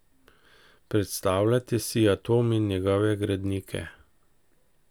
Predstavljajte si atom in njegove gradnike.